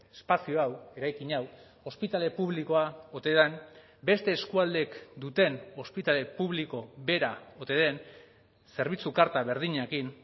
espazio hau eraikin hau ospitale publikoa ote den beste eskualdeek duten ospitale publiko bera ote den zerbitzu karta berdinekin